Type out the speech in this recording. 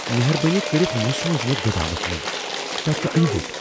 مہربٲنی کٔرتھ مہٕ سوز مےٚ گدامس منز۔ تتہِ چھٗ انہِ گو٘ٹ ۔